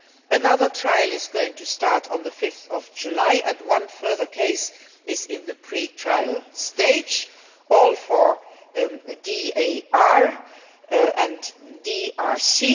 another trial is going to start on 5 July and one further case is in the pre trial stage all for DAR and DRC.